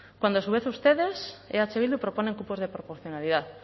cuando a su vez ustedes eh bildu proponen cupos de proporcionalidad